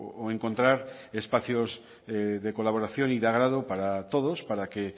o encontrar espacios de colaboración y de agrado para todos para que